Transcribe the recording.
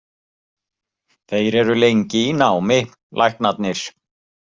Þeir eru lengi í námi, læknarnir.